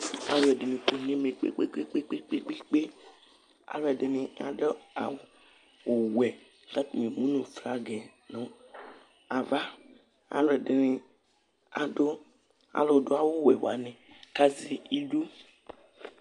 alo ɛdini kɔ n'ɛmɛ kpe kpe kpe alo ɛdini adu awu wɛ k'atani emu no flag yɛ no ava alo ɛdini adu alo do awu wɛ wani k'azɛ idu